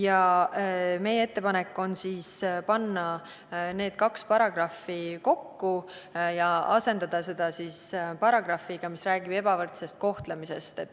Aga meie ettepanek on panna need kaks paragrahvi kokku ja moodustada paragrahv, mis räägib ebavõrdsest kohtlemisest.